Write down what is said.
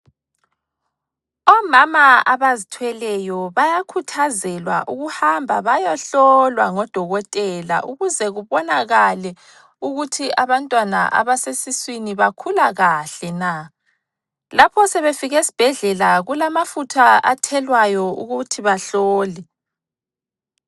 Omama abazithweleyo bayakhuthazelwa ukuhamba bayohlolwa ngodokotela ukuze kubonakale ukuthi abantwana abasesiswini bakhula kahle na. Lapho sebefike esibhedlela kulamafutha athelwayo ukuthi bahlole.